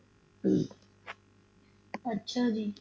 ਅੱਛਾ ਜੀ